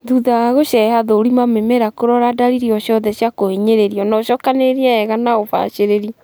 Thutha wa gũceha, thũrima mĩmera kũrora dalili o ciothe cia kũhinyĩrĩrio na ũcokanĩrĩrie wega na ũbacĩrĩri